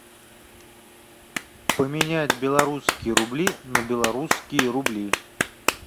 поменять белорусские рубли на белорусские рубли